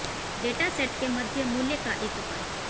data set के मध्य मूल्य का एक उपाय